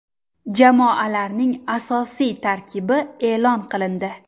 Jamoalarning asosiy tarkibi e’lon qilindi.